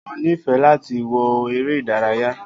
O nifẹ láti wo eré ìdárayá